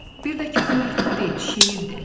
Bir də ki, bu məktub deyil, şeirdir.